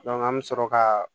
an bɛ sɔrɔ ka